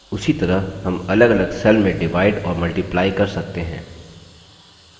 उसी तरह हम अलगअलग cells में डिवाइड और multiply कर सकते हैं